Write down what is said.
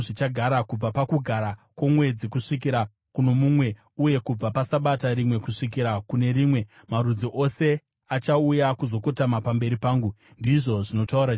Kubva paKugara kwoMwedzi kusvikira kuno mumwe, uye kubva paSabata rimwe kusvikira kune rimwe, marudzi ose achauya kuzokotama pamberi pangu,” ndizvo zvinotaura Jehovha.